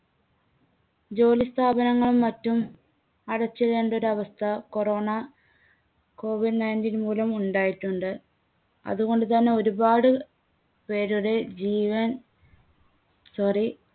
ജോലിസ്ഥാപനങ്ങളും മറ്റും അടച്ചിടേണ്ട ഒരവസ്ഥ corona കോവിഡ് nineteen മൂലം ഉണ്ടായിട്ടുണ്ട്. അതുകൊണ്ടുതന്നെ ഒരുപാട് പേരുടെ ജീവൻ sorry